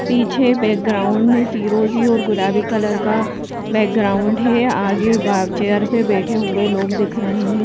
पीछे बैकग्राउंड में फिरोजी और गुलाबी कलर का बैकग्राउंड है आगे बाहर चेयर पे बैठे हुए लोग दिख रहे हैं।